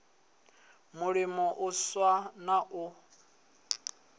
mulimo u swa na u